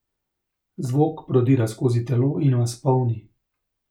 Zvok prodira skozi telo in vas polni.